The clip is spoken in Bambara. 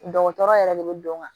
Dɔgɔtɔrɔ yɛrɛ de bɛ don n kan